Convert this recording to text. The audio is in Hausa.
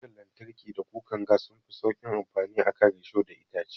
Kukar lantarki da kukar gas sunfi sauƙin amfani a kan risho da itace.